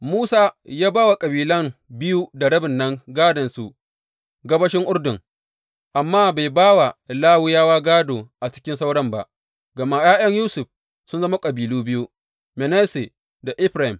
Musa ya ba wa kabilan biyu da rabin nan gādonsu gabashin Urdun, amma bai ba wa Lawiyawa gādo a cikin sauran ba, gama ’ya’yan Yusuf sun zama kabilu biyu, Manasse da Efraim.